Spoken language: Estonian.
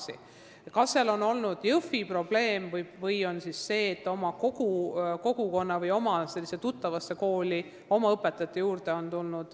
Selle kohta on erinevat infot, kas see on olnud Jõhvi probleem või on tundunud mõnusam minna tagasi oma kogukonda, oma tuttavasse kooli, oma õpetajate juurde.